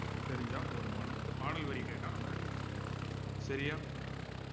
தெரிஞ்சா போதுமானது இந்த பாடல் வரி கேட்டா நம்ம answer சரியா